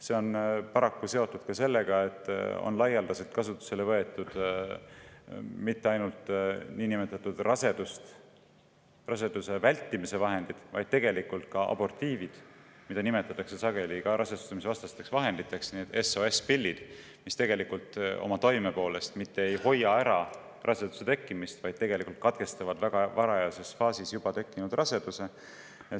See on paraku seotud ka sellega, et laialdaselt on kasutusele võetud mitte ainult niinimetatud raseduse vältimise vahendeid, vaid tegelikult ka abortiive, mida sageli nimetatakse rasestumisvastasteks vahenditeks – need SOS-pillid –, aga mis tegelikult oma toime poolest mitte ei hoia raseduse tekkimist ära, vaid katkestavad juba tekkinud raseduse väga varajases faasis.